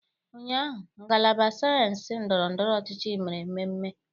Ụnyahụ, ngalaba sayensị ndọrọ ndọrọ ọchịchị mere mmemme.